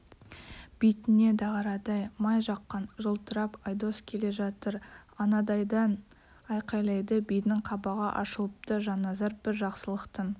бетіне дағарадай май жаққан жылтырап айдос келе жатыр анадайдан айқайлайды бидің қабағы ашылыпты жанназар бір жақсылықтың